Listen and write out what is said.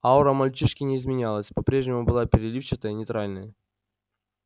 аура мальчишки не изменялась по-прежнему была переливчатая нейтральная